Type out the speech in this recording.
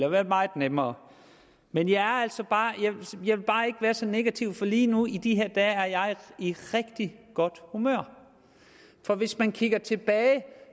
og været meget nemmere men jeg vil bare ikke være så negativ for lige nu i de her dage er jeg i rigtig godt humør for hvis man kigger tilbage kan